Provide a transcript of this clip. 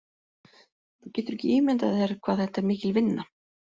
Þú getur ekki ímyndað þér hvað þetta er mikil vinna.